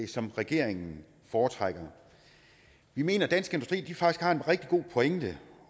som regeringen foretrækker vi mener at dansk industri faktisk har en rigtig god pointe